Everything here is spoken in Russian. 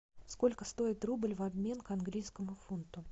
сколько стоит рубль в обмен к английскому фунту